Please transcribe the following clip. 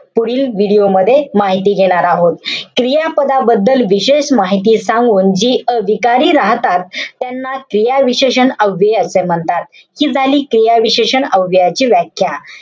पुढील video मध्ये माहिती देणार आहोत. क्रियापदाबद्दल विशेष माहिती सांगून जी विकारी राहतात. त्यांना क्रियाविशेषण अव्यय असे म्हणतात. हि झाली क्रियाविशेषण अव्ययाची व्याख्या.